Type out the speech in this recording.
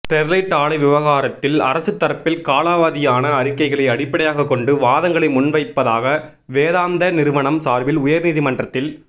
Sterlite ஆலை விவகாரத்தில் அரசு தரப்பில் காலாவதியான அறிக்கைகளை அடிப்படையாகக் கொண்டு வாதங்களை முன்வைப்பதாக வேதாந்தா நிறுவனம் சாா்பில் உயா்நீதிமன்றத்தில்